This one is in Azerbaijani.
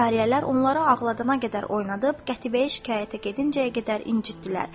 Cariyələr onları ağladana qədər oynadıb, qətibəyə şikayətə gedincəyə qədər incitdilər.